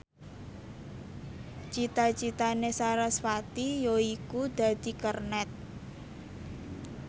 cita citane sarasvati yaiku dadi kernet